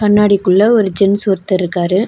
கண்ணாடி குள்ள ஒரு ஜென்ட்ஸ் ஒருத்தர் இருக்காரு.